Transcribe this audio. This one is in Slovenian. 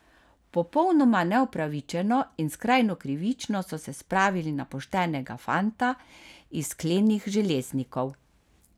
Popolnoma neupravičeno in skrajno krivično so se spravili na poštenega fanta iz klenih Železnikov.